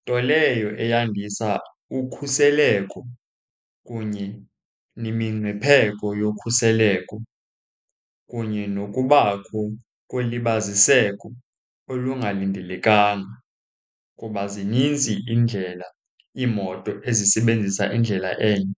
Nto leyo eyandisa ukhuseleko kunye nemingcipheko yokhuseleko, kunye nokubakho kolibaziseko olungalindelekanga, kuba zininzi iindlela iimoto ezisebenzisa indlela enye.